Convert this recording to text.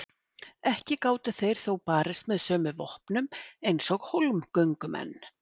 Ekki gátu þeir þó barist með sömu vopnum eins og hólmgöngumenn.